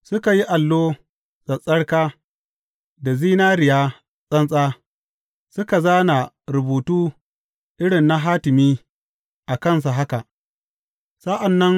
Suka yi allo tsattsarka da zinariya tsantsa, suka zāna rubutu irin na hatimi a kansa haka, Mai tsarki ga Ubangiji.